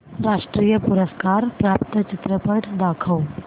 राष्ट्रीय पुरस्कार प्राप्त चित्रपट दाखव